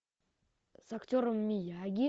с актером мияги